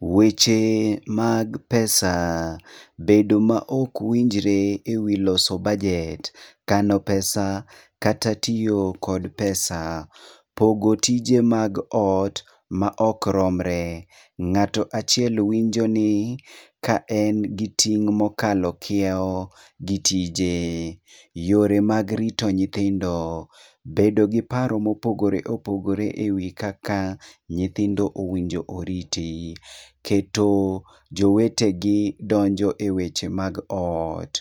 Weche mag pesa. Bedo ma okwinjre e wii loso budget. Kano pesa kata tiyo kodo pesa. Pogo tije mag ot ma ok romre, ng'ato achiel winjo ni ka en gi ting' mokalo kiewo gi tije. Yore mag rito nyithindo, bedo gi paro mopogore opogore e wii kaka nyithindo owinjo oriti. Keto jowete gi donjo e weche mag ot,